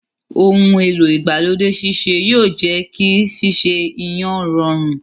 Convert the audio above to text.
Ohun èlò igbalode sise yóò jẹ kí sese iyán rọrùn.